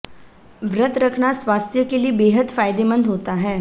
व्रत रखना स्वास्थ्य के लिए बेहद फायदेमंद होता है